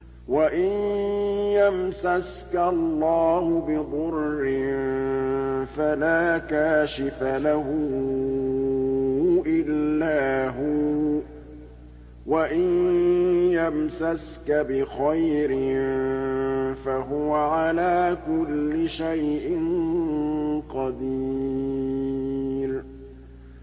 وَإِن يَمْسَسْكَ اللَّهُ بِضُرٍّ فَلَا كَاشِفَ لَهُ إِلَّا هُوَ ۖ وَإِن يَمْسَسْكَ بِخَيْرٍ فَهُوَ عَلَىٰ كُلِّ شَيْءٍ قَدِيرٌ